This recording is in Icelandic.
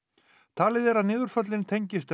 talið er að niðurföllin tengist